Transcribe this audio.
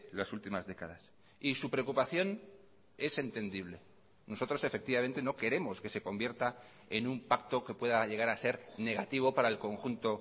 las últimas décadas y su preocupación es entendible nosotros efectivamente no queremos que se convierta en un pacto que pueda llegar a ser negativo para el conjunto